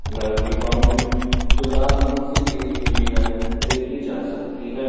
घर की बाउंड्री जो लाल रंग से घीरी हुई है देखी जा सकती है।